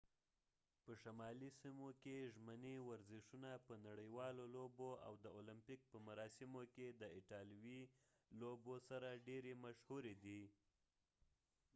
په شمالي سیمو کې ژمني ورزشونه په نړیوالو لوبو او د المپیک په مراسمو کې د ایټالویي لوبو سره ډيرې مشهورې دي